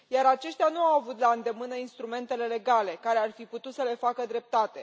Aceștia nu au avut la îndemână instrumentele legale care ar fi putut să le facă dreptate.